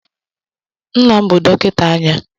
Nna m bụ dọkịta anya.